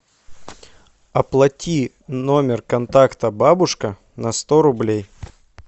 оплати номер контакта бабушка на сто рублей